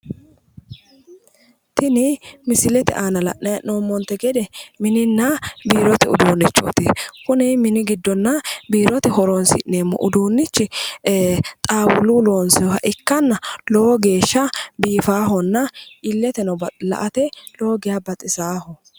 Tini misilete aana la'nayi hee'noommontenni gede mininna biirote uduunnichooti kuni mini giddonna biirote horonsi'neemmo uduunnichi xaawuluyi loonsayiiha ikkanna lowo geeshsha biifaahonna illeteno la"ate lowo geeshsha baxisaaho.